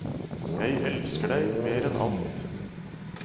Jeg elsker deg mer enn alt.